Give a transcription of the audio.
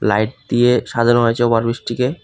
Light দিয়ে সাজানো হয়েছে ওভার ব্রিজটিকে।